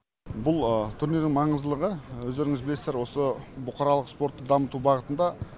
бұл турнирдің маңыздылығы өздеріңіз білесіздер осы бұқаралық спортты дамыту бағытында